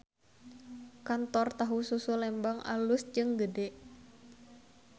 Kantor Tahu Susu Lembang alus jeung gede